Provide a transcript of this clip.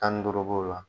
Tan ni duuru b'o la